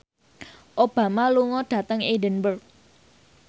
Obama lunga dhateng Edinburgh